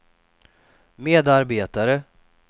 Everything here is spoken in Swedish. medarbetare